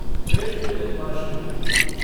Krishna Janmashtami